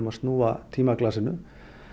að snúa tímaglasinu